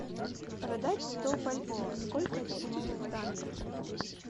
продать сто бальбоа сколько это будет в франках